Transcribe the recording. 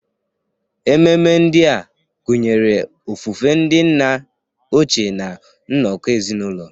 Ememe ndị a gụnyere ofufe ndị nna ochie na nnọkọ ezinụlọ.